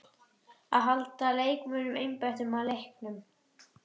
Að halda leikmönnunum einbeittum að leiknum.